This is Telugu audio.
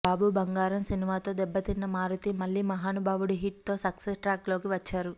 బాబు బంగారం సినిమాతో దెబ్బతిన్న మారుతీ మళ్ళీ మహానుభావుడు హిట్ తో సక్సెస్ ట్రాక్ లోకి వచ్చారు